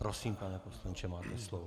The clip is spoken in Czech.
Prosím, pane poslanče, máte slovo.